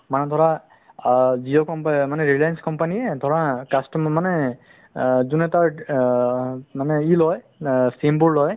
মানে ধৰা আ জিও company ৰেলিঅন্ছ company ধৰা customer মানে আ যোন এটা আ মানে ই লই SIM বোৰ লই